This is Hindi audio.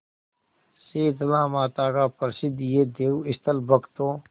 शीतलामाता का प्रसिद्ध यह देवस्थल भक्तों